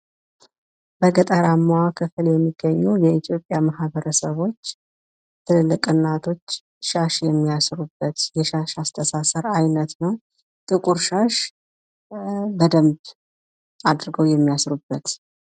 በገጠራማው ክፍል የሚገኙ የኢትዮጵያ ማህበረሰቦች ትልልቅ እናቶች ሻሽ የሚያስሩበት የሻሽ አስተሳሰር አይነት ነው። ጥቁር ሻሽ በደንብ አድርገው የሚያስሩበት።